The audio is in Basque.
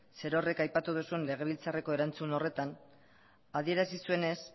zer horrek aipatu duzun legebiltzarreko erantzun horretan adierazi zuenez